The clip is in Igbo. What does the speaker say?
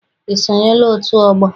I sonyela otu ọgbọ?